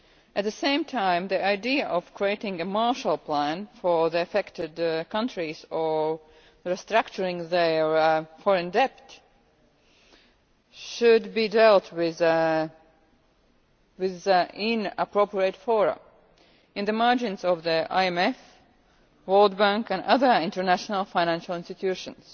At the same time, the idea of creating a Marshall Plan for the affected countries or restructuring their foreign debt should be dealt with in appropriate fora, in the margins of the IMF, World Bank and other international financial institutions.